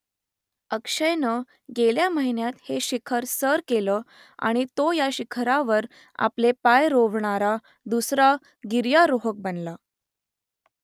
अक्षयनं गेल्या महिन्यात हे शिखर सर केलं आणि तो या शिखरावर आपले पाय रोवणारा दुसरा गिर्यारोहक बनला